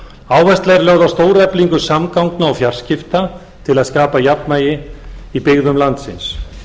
áhersla er lögð á stóreflingu samgangna og fjarskipta til að skapa jafnvægi í byggðum landsins